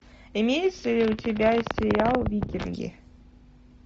имеется ли у тебя сериал викинги